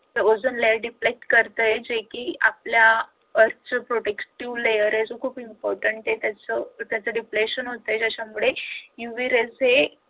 ते ozone layer deflect करतय ते कि आपल्या earth protective layer खूप important आहे त्याच defection होतंय त्याच्यामुळं uv rays